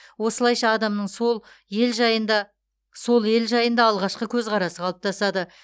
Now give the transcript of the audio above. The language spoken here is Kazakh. осылайша адамның сол ел жайында сол ел жайында алғашқы көзқарасы қалыптасады